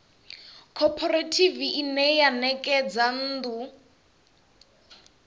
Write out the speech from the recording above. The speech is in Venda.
khophorethivi ine ya ṋekedza nnḓu